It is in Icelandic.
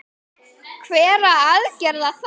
Hverra aðgerða þá?